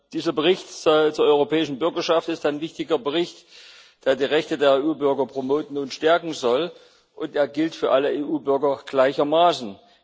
Dieser Bericht zur europäischen Bürgerschaft ist ein wichtiger Bericht, der die Rechte der EU Bürger promoten und stärken soll, und er gilt für alle EU Bürger gleichermaßen.